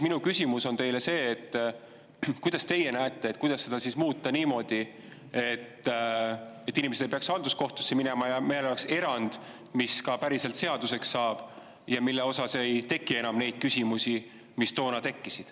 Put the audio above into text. Minu küsimus teile ongi see, et kuidas teie võiks seda seadust muuta niimoodi, et inimesed ei peaks halduskohtusse minema ja meil oleks erand, mis päriselt seaduseks saab ja mille puhul ei teki enam neid küsimusi, mis toona tekkisid.